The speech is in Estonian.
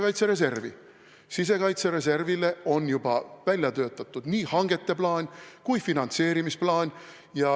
Mis puutub sisekaitsereservi, siis on juba välja töötatud nii hangete kui ka finantseerimise plaan.